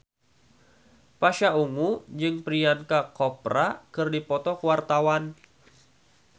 Pasha Ungu jeung Priyanka Chopra keur dipoto ku wartawan